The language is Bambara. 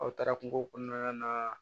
Aw taara kungo kɔnɔna na